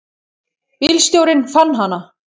Bílstjórinn fann hana.